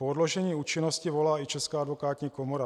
Po odložení účinnosti volá i Česká advokátní komora.